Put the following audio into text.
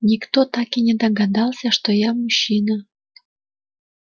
никто так и не догадался что я мужчина